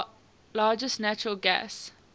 largest natural gas